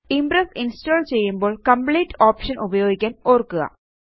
Impress install ചെയ്യുമ്പോള് complete option ഉപയോഗിക്കാന് ഓര്ക്കുക